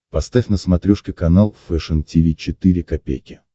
поставь на смотрешке канал фэшн ти ви четыре ка